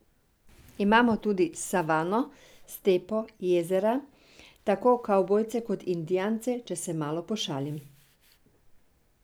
Imamo tudi savano, stepo, jezera, tako kavbojce kot indijance, če se malo pošalim ...